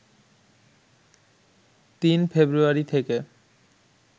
৩ ফেব্রুয়ারি থেকে